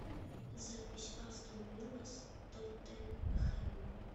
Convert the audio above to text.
запись астон вилла с тоттенхэмом